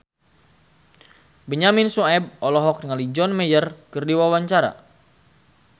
Benyamin Sueb olohok ningali John Mayer keur diwawancara